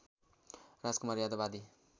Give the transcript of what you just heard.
राजकुमार यादव आदि